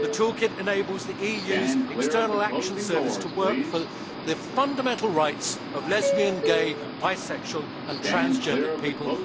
The toolkit enables the EU's External Action Service to work for the fundamental rights of lesbian, gay, bisexual and transgender people.